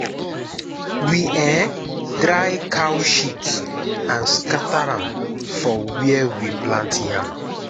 we um dry cow shit and scatter am for where we plant yam.